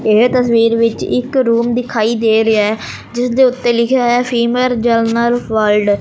ਇਹ ਤਸਵੀਰ ਵਿੱਚ ਇੱਕ ਰੂਮ ਦਿਖਾਈ ਦੇ ਰਿਹਾ ਜਿਸਦੇ ਉੱਤੇ ਲਿਖਿਆ ਹੋਇਆ ਫੀਮੇਲ ਜਨਰਲ ਵਾਰਡ ।